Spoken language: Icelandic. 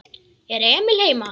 Er Emil heima?